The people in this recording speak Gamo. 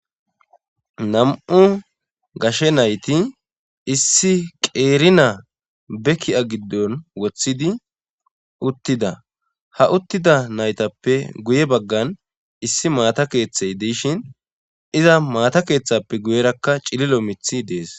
nam7u gashe nayti issi qeerina be ki7a giddon woththidi uttida ha uttida naytappe guye baggan issi maata keeththey diishin iza maata keeththappe guyerakka cililo mithi dees